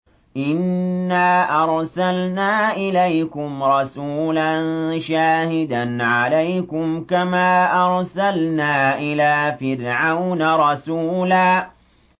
إِنَّا أَرْسَلْنَا إِلَيْكُمْ رَسُولًا شَاهِدًا عَلَيْكُمْ كَمَا أَرْسَلْنَا إِلَىٰ فِرْعَوْنَ رَسُولًا